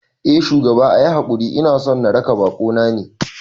Eh shugaba, ayi hakuri inason na raka bakona ne